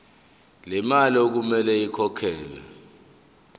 lemali okumele ikhokhelwe